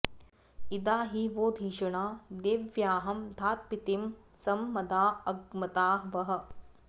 इदा हि वो धिषणा देव्यह्नामधात्पीतिं सं मदा अग्मता वः